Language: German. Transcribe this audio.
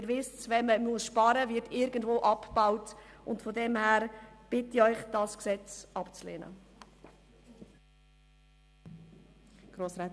Sie wissen, dass irgendwo Leistungen abgebaut werden, wenn gespart wird.